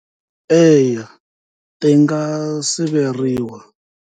Eya ti nga siveriwa.